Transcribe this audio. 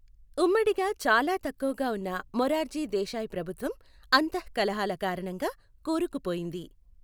ఉమ్మిడిగా చాలా తక్కువగా ఉన్న మొరార్జీ దేశాయ్ ప్రభుత్వం అంతఃకలహాల కారణంగా కూరుకుపోయింది.